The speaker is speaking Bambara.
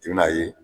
I bɛn'a ye